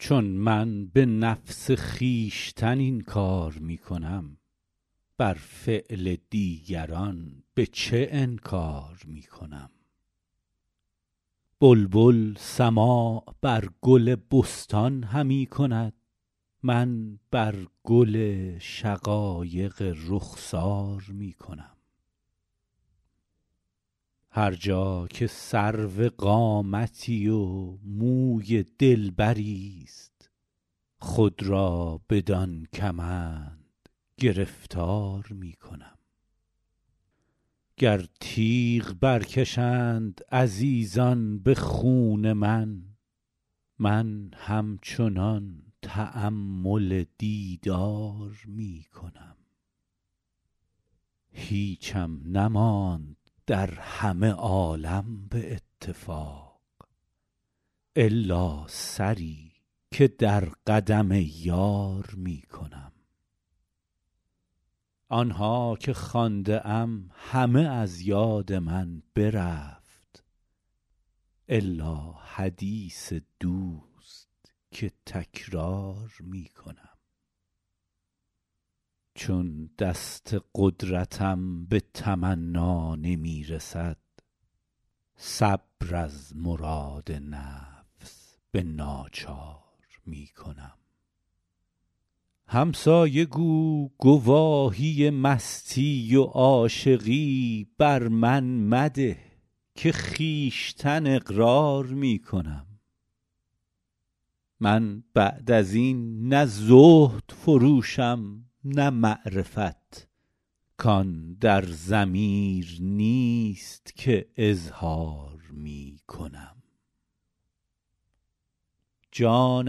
چون من به نفس خویشتن این کار می کنم بر فعل دیگران به چه انکار می کنم بلبل سماع بر گل بستان همی کند من بر گل شقایق رخسار می کنم هر جا که سرو قامتی و موی دلبریست خود را بدان کمند گرفتار می کنم گر تیغ برکشند عزیزان به خون من من همچنان تأمل دیدار می کنم هیچم نماند در همه عالم به اتفاق الا سری که در قدم یار می کنم آن ها که خوانده ام همه از یاد من برفت الا حدیث دوست که تکرار می کنم چون دست قدرتم به تمنا نمی رسد صبر از مراد نفس به ناچار می کنم همسایه گو گواهی مستی و عاشقی بر من مده که خویشتن اقرار می کنم من بعد از این نه زهد فروشم نه معرفت کان در ضمیر نیست که اظهار می کنم جان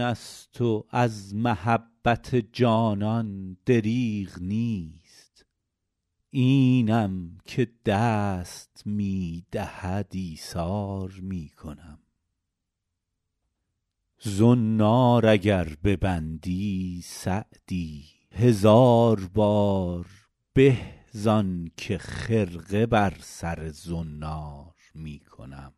است و از محبت جانان دریغ نیست اینم که دست می دهد ایثار می کنم زنار اگر ببندی سعدی هزار بار به زان که خرقه بر سر زنار می کنم